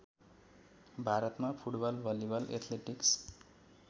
भारतमा football volleyball athletics